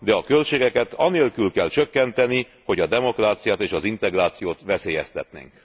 De a költségeket anélkül kell csökkenteni, hogy a demokráciát és az integrációt veszélyeztetnénk.